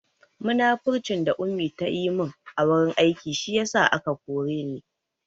Munafurcin da Ummi ta yi mun a wurin aiki shi ya sa aka koren ni